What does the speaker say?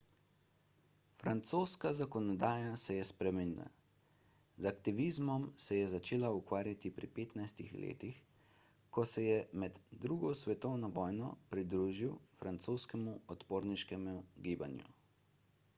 francoska zakonodaja se je spremenila z aktivizmom se je začel ukvarjati pri 15 letih ko se je med ii svetovno vojno pridružil francoskemu odporniškemu gibanju